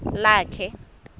lakhe